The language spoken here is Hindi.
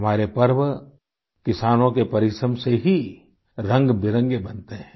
हमारे पर्व किसानों के परिश्रम से ही रंगबिरंगे बनते हैं